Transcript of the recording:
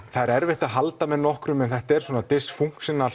það er erfitt að halda með einhverjum þetta er svona